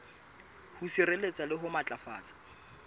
ho sireletsa le ho matlafatsa